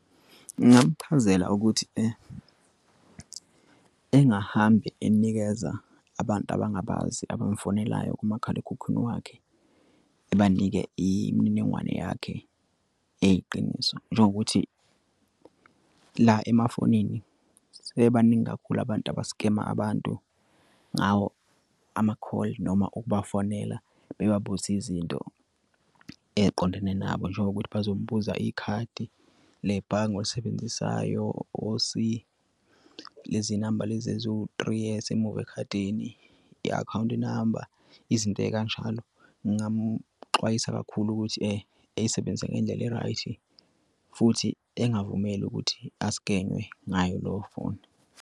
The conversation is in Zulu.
Ngingamchazela ukuthi engahambi enikeza abantu abangabazi abamfonelayo kumakhalekhukhwini wakhe. Ebanike imininingwane yakhe eyiqiniso njengokuthi la emafonini sebebaningi kakhulu abantu abaskema abantu ngawo amakholi noma ukubafonela. Bebabuze izinto eqondene nabo njengokuthi bazobuza ikhadi le bhange olisebenzisayo iposi. Lezi namba lezi eziwu-three ezisemuva ekhadini i-akhawunti number izinto ey'kanjalo. Ngingamuxwayisa kakhulu ukuthi eyisebenzise ngendlela e-right futhi engavumeli ukuthi a-scan-we ngayo leyo phone.